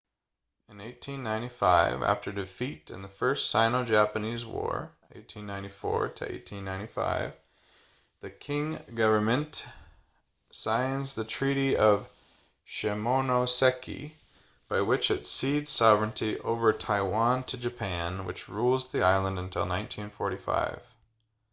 in 1895 after defeat in the first sino-japanese war 1894-1895 the qing government signs the treaty of shimonoseki by which it cedes sovereignty over taiwan to japan which rules the island until 1945